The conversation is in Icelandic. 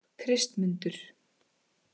Kristmundur